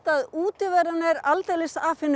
að útiveran er aldeilis